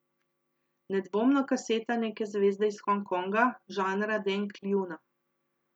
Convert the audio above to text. Nedvomno kaseta neke zvezde iz Hong Konga, žanra Deng Lijuna.